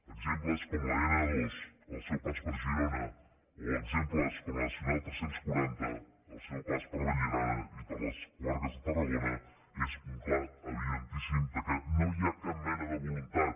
exemples com l’n ii al seu pas per girona o exemples com la nacional tres cents i quaranta al seu pas per vallirana i per les comarques de tarragona són una clara evidència que no n’hi ha cap mena de voluntat